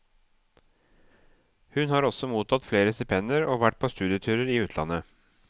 Hun har også mottatt flere stipendier og vært på studieturer i utlandet.